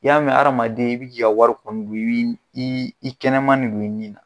I y'a mɛ hadamaden i bi k'i ka wari kɔndulii ii i kɛnɛman de don i ni